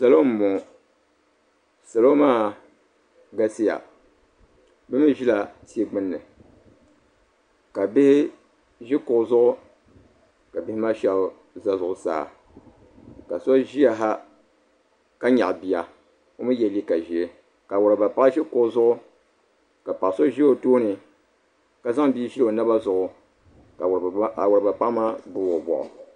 salo n bɔŋɔ salo maa galisiya bi mii ʒila tia gbuni ka bihi ʒi kuɣu zuɣu ka bihi maa shab ʒɛ zuɣusaa ka so ʒiya ha ka nyaɣa bia ka yɛ liiga ʒiɛ ka awuraaba paɣa ʒi kuɣu zuɣu ka paɣa so ʒɛ o tooni ka zaŋ bia ʒili o naba zuɣu ka awuraaba paɣa maa gbubi o nuu